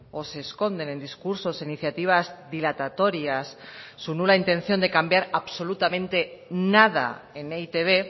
o se esconden en discursos e iniciativas dilatatorias su nula intención de cambiar absolutamente nada en e i te be